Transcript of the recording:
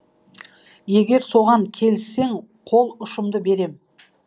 егер соған келіссең қол ұшымды берем